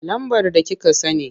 Lambar da kika sani.